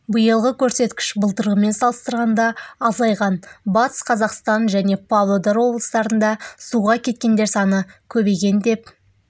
биылғы көрсеткіш былтырғымен салыстырғанда азайған батыс қазақстан және павлодар облыстарында суға кеткендер саны көбейген деп